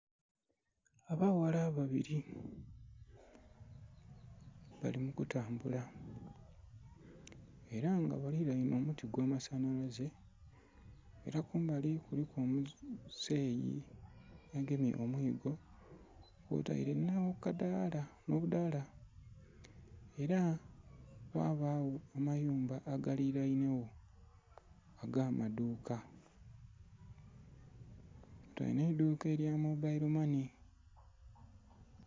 Abaghala babili bali mu kutambula ela nga balilainhe omuti ogw'amasanhalaze ela kumbali kuliku omuzeyi agemye omwiigo kwotaile nh'akadaala, nh'obudhaala. Ela ghabagho amayumba agalilainhegho ag'amadhuuka kwotaile nh'eidhuuka elya mobayilo mane